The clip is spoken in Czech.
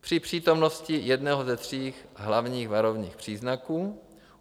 Při přítomnosti jednoho ze tří hlavních varovných příznaků;